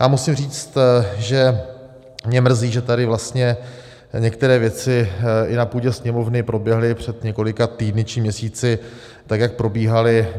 Já musím říct, že mě mrzí, že tady vlastně některé věci i na půdě Sněmovny proběhly před několika týdny či měsíci tak, jak probíhaly.